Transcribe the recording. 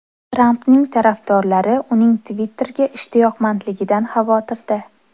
Trampning tarafdorlari uning Twitter’ga ishtiyoqmandligidan xavotirda.